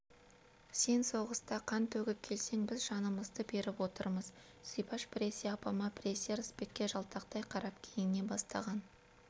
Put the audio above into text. сен соғыста қан төгіп келсең біз жанымызды беріп отырмыз зибаш біресе апама біресе ырысбекке жалтақтай қарап киіне бастаған